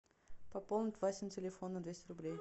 пополнить васин телефон на двести рублей